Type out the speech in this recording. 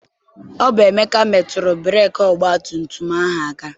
Ọ bụ Emeka metụrụ breeki ọgbatumtum ahụ aka.